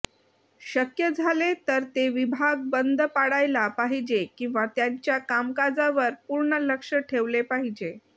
शक्य झाले तर ते विभाग बंद पाडायला पाहिजे किंवा त्यांच्या कामकाजावर पूर्ण लक्ष ठेवले पाहिजे